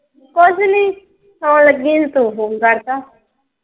ਕੁੱਛ ਨਹੀਂ ਸੌਣ ਲੱਗੀ ਸੀ ਤੂੰ Phone ਕਰਤਾ।